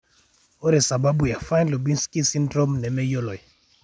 Ore sababu e Fine Lubinsky syndrome nemeyioloi.